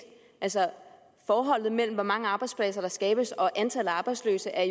altså forholdet mellem hvor mange arbejdspladser der skabes og antallet af arbejdsløse er